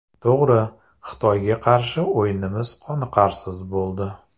To‘g‘ri, Xitoyga qarshi o‘yinimiz qoniqarsiz bo‘ldi.